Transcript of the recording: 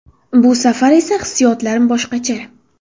Bu safar esa hissiyotlarim boshqacha.